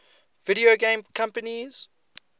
video game companies